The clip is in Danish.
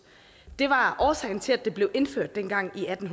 det var årsagen til at det blev indført dengang i atten